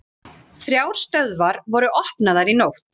Þrjár stöðvar voru opnaðar í nótt